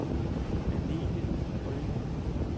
Agnethe Rømer